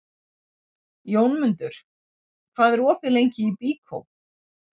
Jómundur, hvað er opið lengi í Byko?